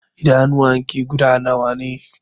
Idanuwan ki guda nawa ne?